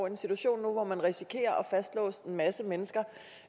en situation nu hvor man risikerer at fastlåse en masse mennesker